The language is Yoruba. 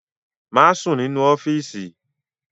Má sùn nínú ọ́fíìsì!